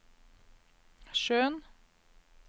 sjøen